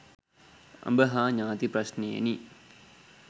අඹ හා ඥාති ප්‍රශ්නයෙනි.